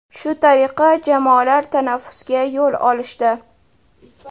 Shu tariqa jamoalar tanaffusga yo‘l olishdi.